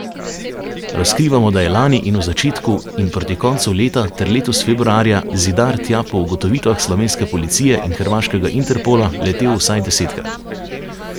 Razkrivamo, da je lani in v začetku in proti koncu leta ter letos februarja Zidar tja po ugotovitvah slovenske policije in hrvaškega Interpola, letel vsaj desetkrat.